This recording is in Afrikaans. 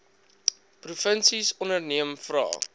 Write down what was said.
provinsies onderneem vra